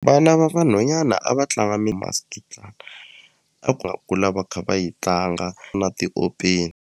Vana va vanhwanyana a va tlanga mi a kula va kha va yi tlanga na .